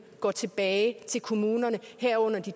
går tilbage til kommunerne herunder de